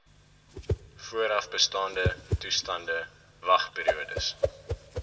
voorafbestaande toestande wagperiodes